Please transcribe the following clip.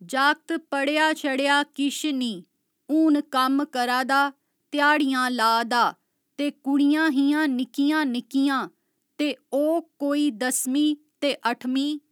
जाक्त पढ़ेआ छढ़ेआ किश निं हुन कम्म करा दा ध्याड़ियां ला दा ते कुंड़ियां हियां निक्कियां निक्कियां ते ओह् कोई दसमी ते अठमीं